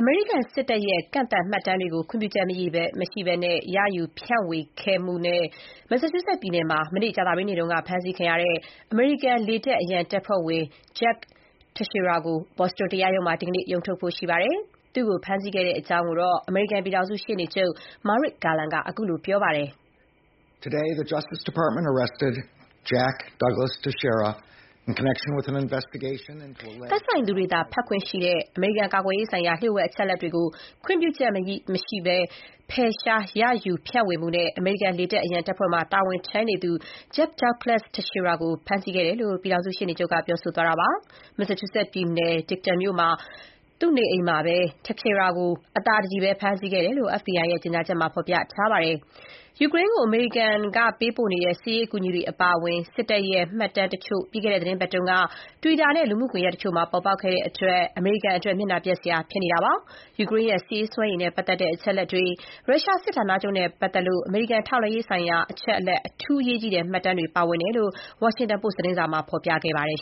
မေရိကန်စစ်တပ်ရဲ့ ကန့်သတ်မှတ်တမ်းတွေကို ခွင့်ပြုချက်မရှိဘဲ ရယူ၊ ဖြန့်ဝေခဲ့မှု Massachusetts ပြည်နယ်မှာ ကြာသပတေးနေ့က ဖမ်းဆီးခံရတဲ့ အမေရိကန် လေတပ် အရန်တပ်ဖွဲ့ဝင် Jack Teixeira ကို ဘော်စတွန် (Boston) တရားရုံးမှာ ဒီနေ့ ရုံးထုတ်မှာဖြစ်ပါတယ်။ သူ့ကိုဖမ်းဆီးခဲ့တဲ့အကြောင်း အမေရိကန်ပြည်ထောင်စု ရှေ့နေချုပ် Merrick Garland ကခုလို ပြောကြားခဲ့ပါတယ်။ သက်ဆိုင်သူတွေသာ ဖတ်ခွင့်ရှိတဲ့ အမေရိကန်ကာကွယ်ရေးဆိုင်ရာ ကန့်သတ်အချက်အလက်တွေကို ခွင်ပြုချက်မရဘဲ ဖယ်ရှား၊ ရယူ ဖြန့်ဝေမှုနဲ့ အမေရိကန် လေတပ်အရန်တပ်ဖွဲ့မှာတာဝန်ထမ်းနေသူ Jack Douglas Teixeira ကိုဖမ်းဆီးခဲ့တယ်လို့ ပြည်ထောင်စုရှေ့နေချုပ်က ပြောကြားခဲ့တာပါ။ Massachusetts ပြည်နယ် Dighton မြို့က သူ့နေအိမ်မှာ Teixeira အသာတကြည် အဖမ်းခံခဲ့တယ်လို့ FBI ကြေညာချက်မှာ ဖော်ပြထားပါတယ်။ ယူကရိန်းကိုအမေရိကန်တို့ပေးနေတဲ့ စစ်ရေးအကူအညီတွေအပါအဝင် စစ်တပ်ရဲ့ မှတ်တမ်းတချို့ ပြီးခဲ့တဲ့သီတင်းပါတ်က Twitter နဲ့ လူမှုကွန်ရက်တချို့မှာ ထွက်ပေါ်လာခဲ့တဲ့အတွက် အမေရိကန်အတွက် မျက်နှာပျက်စရာဖြစ်နေပါတယ်။ ယူကရိန်းရဲ့ စစ်ရေးစွမ်းရည်နဲ့ ပတ်သက်တဲ့ အချက်အလက်တွေ၊ ရုရှား စစ်ဌာနချုပ်နဲ့ ပတ်သက်လို့ အမေရိကန် ထောက်လှမ်းရေးဆိုင်ရာ အချက်အလက် အထူး အရေးကြီးတဲ့ မှတ်တမ်းတွေ ပါဝင်တယ်လို့ Washington Post သတင်းစာမှာ ဖော်ပြခဲ့ပါတယ်